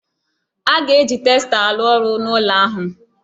A ga-eji testa arụ ọrụ n'ụlọ ahụ.